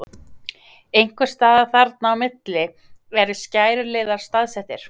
Einhvers staðar þarna á milli eru skæruliðar staðsettir.